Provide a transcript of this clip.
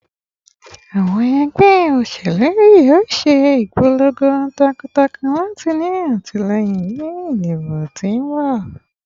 Awọn ẹgbẹ oṣelu yoo ṣe ipolongo takuntakun lati ni atilẹyin ni idibo ti n bọ